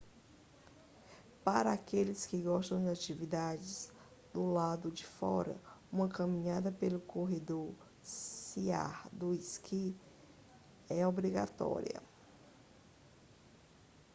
para aqueles que gostam de atividades do lado de fora uma caminhada pelo corredor sea to sky é obrigatória